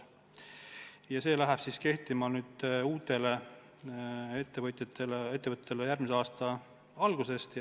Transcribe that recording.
See hakkab uutele ettevõtetele kehtima järgmise aasta algusest.